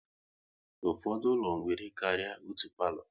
Ụfọdụ ụlọ nwere karịa otú palo